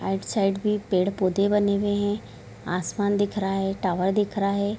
Right side में पेड़-पौधे बने हुए है आसमान दिख रहा है टॉवर दिख रहा है।